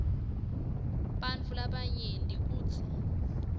bantfu labanyenti kutsi